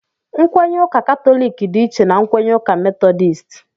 Nkwenye ụka katọliki dị iche na nkwenye ụka metọdisti